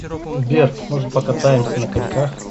сбер может покатаемся на коньках